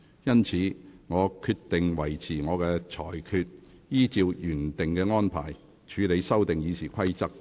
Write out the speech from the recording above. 因此，我決定維持我的裁決，依照原定安排，處理修訂《議事規則》的議案。